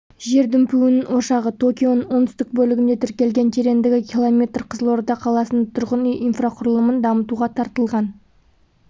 жер дүмпуінің ошағы токионың оңтүстік бөлігінде тіркелген тереңдігі километр қызылорда қаласының тұрғын үй инфрақұрылымын дамытуға тартылған